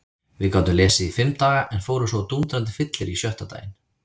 Við gátum lesið í fimm daga en fórum svo á dúndrandi fyllerí sjötta daginn.